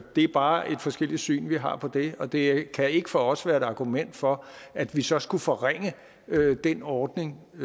det er bare et forskelligt syn vi har på det og det kan ikke for os være et argument for at vi så skulle forringe den ordning